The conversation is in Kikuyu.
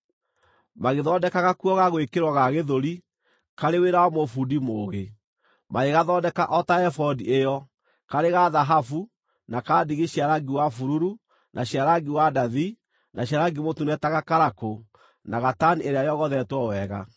Magĩthondeka gakuo ga gwĩkĩrwo ga gĩthũri; karĩ wĩra wa mũbundi mũũgĩ. Magĩgathondeka o ta ebodi ĩyo: karĩ ga thahabu, na ka ndigi cia rangi wa bururu, na cia rangi wa ndathi, na cia rangi mũtune ta gakarakũ, na gatani ĩrĩa yogothetwo wega.